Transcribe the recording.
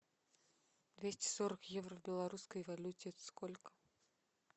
двести сорок евро в белорусской валюте это сколько